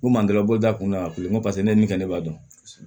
N kun man d'a la n bolo da kun y'a kun ko paseke ne ye nin kɛ ne b'a dɔn